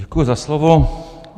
Děkuji za slovo.